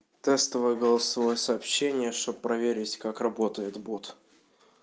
тестовые голосовое сообщение чтоб проверить как работает бот